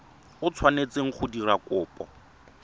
o tshwanetseng go dira kopo